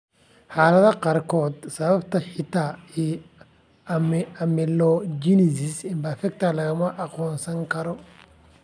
Xaaladaha qaarkood, sababta hidaha ee amelogenesis imperfecta lama aqoonsan karo.